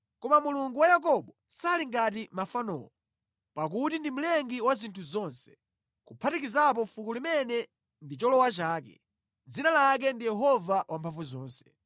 Koma Yehova amene ndi Cholowa cha Yakobo sali ngati mafanowo. Iyeyu ndi Mlengi wa zinthu zonse, kuphatikizapo mtundu umene anawusankha kuti ukhale anthu ake. Dzina lake ndi Yehova Wamphamvuzonse.